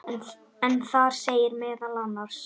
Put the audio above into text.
en þar segir meðal annars